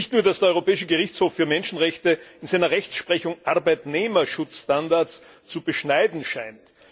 Nicht nur, dass der Europäische Gerichtshof für Menschenrechte in seiner Rechtsprechung Arbeitnehmerschutzstandards zu beschneiden scheint.